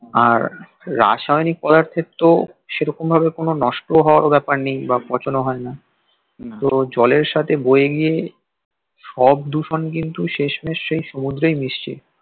আর রাসায়নিক পদার্থের তো সেরকম ভাবে কোনো নষ্ট হওয়ার ব্যাপার নেই বা পচন ও হয় না তো জলের সাথে বয়ে গিয়ে সব দূষণ কিন্তু শেষমেশ সেই সমুদ্রেই মিশছে